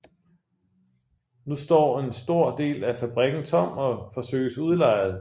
Nu står en stor del af fabrikken tom og forsøges udlejet